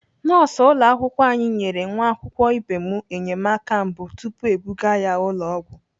Nọọsụ ụlọakwụkwọ anyị nyere nwa akwụkwọ ibe m enyemaka mbụ tupu ebuga ya ụlọ ọgwụ.